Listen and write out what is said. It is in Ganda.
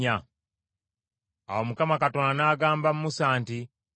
Awo Mukama Katonda n’agamba Musa nti,